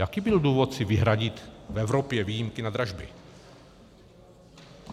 Jaký byl důvod si vyhradit v Evropě výjimky na dražby?